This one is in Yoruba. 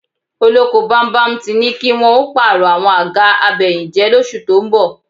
Olóko bámúbamù ti ní kí wọn ó pààrọ̀ àwọn àga abẹyìnjẹ́ lóṣù tó ń bọ̀